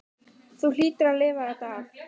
Þú hlýtur að lifa þetta af.